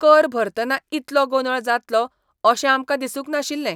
कर भरतना इतलो गोंदळ जातलो अशें आमकां दिसूंक नाशिल्लें.